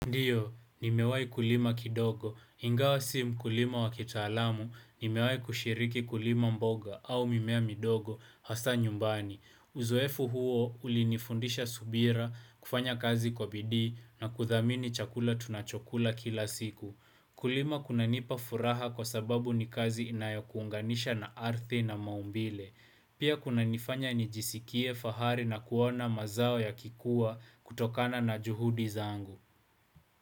Ndiyo, nimewahi kulima kidogo, ingawa si mkulima wa kitaalamu, nimewahi kushiriki kulima mboga au mimea midogo, hasa nyumbani. Uzoefu huo ulinifundisha subira, kufanya kazi kwa bidii, na kudhamini chakula tunachokula kila siku. Kulima kunanipa furaha kwa sababu ni kazi inayokuunganisha na ardhi na maumbile. Pia kunanifanya nijisikie fahari na kuona mazao yakikuwa kutokana na juhudi zangu.